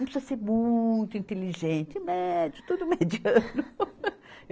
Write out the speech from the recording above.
Não precisa ser muito inteligente, médio, tudo mediano.